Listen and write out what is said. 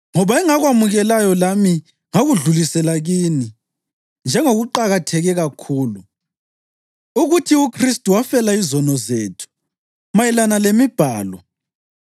Ngoba engakwamukelayo lami ngakudlulisela kini njengokuqakatheke kakhulu: ukuthi uKhristu wafela izono zethu mayelana lemibhalo,